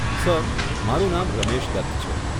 Sir, મારું નામ રમેશ દત્ત છે.